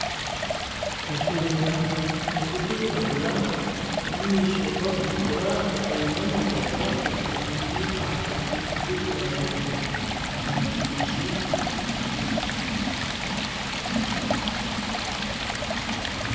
Eshohera erikwiragura ya amaisho ga kutukura eine amapapa etekami ahagati y'ekirabyo kya kinekye.